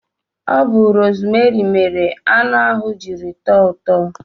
Ọ bu rosmeri mere anụ ahụ jiri tọọ ụtọ